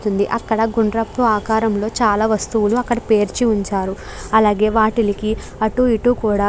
అక్కడ గుందరపు ఆకారం లో చాలా వస్తువులు అక్కడ పేర్చి ఉంచారు. అలాగే వాటిలకి అటు ఇ టు కూడా --